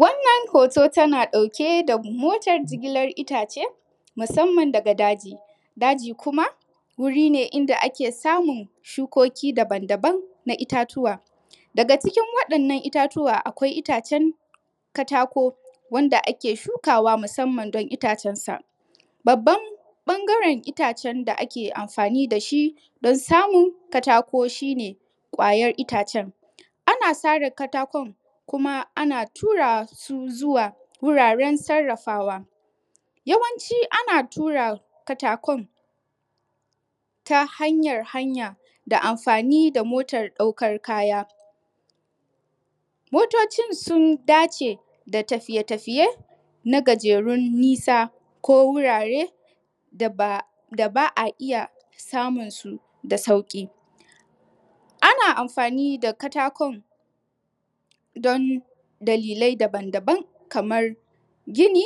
Wannan hoto tana ɗauke da motar jigilar itace musamman daga daji, daji kuma wuri ne inda ake samun shukoki daban-daban na itatuwa, daga cikin waɗannan itatuwa akwai itacen katako wanda ake shukawa musamman don itacensa, babban bangare itacen da ake amfani da shi don samun katako shi ne ƙwayan itacen, ana sare katakon kuma ana tura su zuwa wuraren sarafawa yawanci ana tura katakon ta hanyar hanya da amfani da motar ɗaukan kaya, motocin sun dace da tafiye-tafiye na gajerun nisa ko wurare da ba a iya samun su da sauki, ana amfani da katakon don dalilai daban-daban kamar gini,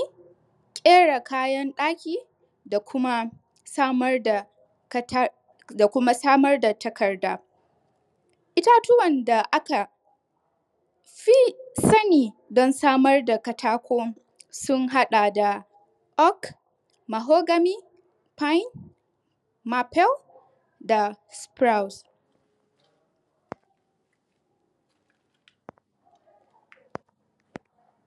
kyara kayan daki da kuma samar da takarda, itatuwan da aka fi sani don samar da katako sun haɗa da Org, Mahogamy, pine, mapale da spruce.